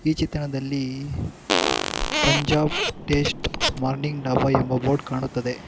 ಈ ಚಿತ್ರಣದಲ್ಲಿ Punjab test morning dhaba ಎಂಬ ಬೋರ್ಡ್ ಕಾಣುತ್ತದೆ.